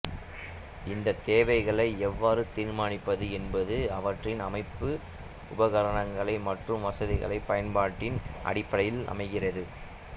இந்த தேவைகளை எவ்வாறு தீர்மானிப்பது என்பது அவற்றின் அமைப்பு உபகரணங்கள் மற்றும் வசதிகளின் பயன்பாட்டின் அடிப்படையில் அமைகிறது